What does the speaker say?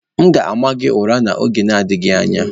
M ga-ama gị ụra n'oge adịghị anya